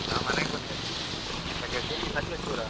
ನಾನ್ ಮನೆಗೆ ಬಂದೆ. Sakaleshpur.